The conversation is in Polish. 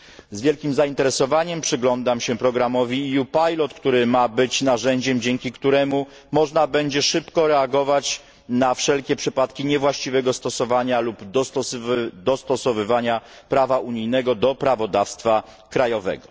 Z wielkim zainteresowaniem przyglądam się programowi EU Pilot, który ma być narzędziem, dzięki któremu można będzie szybko reagować na wszelkie przypadki niewłaściwego stosowania lub dostosowywania prawa unijnego do prawodawstwa krajowego.